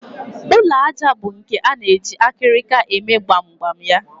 Ụlọ àjà bụ nke a na-eji akịrịka eme gbamgbam ya